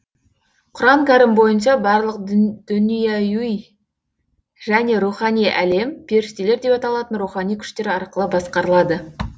құран кәрім бойынша барлық дүнияуи және рухани әлем періштелер деп аталатын рухани күштер арқылы басқарылады